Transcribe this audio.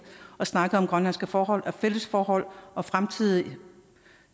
og snakke om grønlandske forhold og fælles forhold og fremtidige